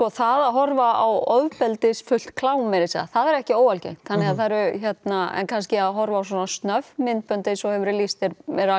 það að horfa á ofbeldisfullt klám það er ekki óalgengt en kannski að horfa á svona snögg myndbönd eins og hefur verið lýst er